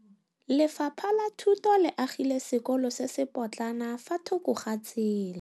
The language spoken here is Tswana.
Lefapha la Thuto le agile sekôlô se se pôtlana fa thoko ga tsela.